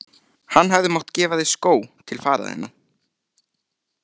Hann hefði mátt gefa þér skó til fararinnar